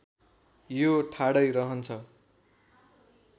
यो ठाडै रहन्छ